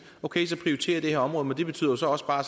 okay så prioriterer vi det her område men det betyder så også bare